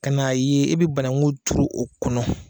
Ka na ye e be banangu tuuru o kɔnɔ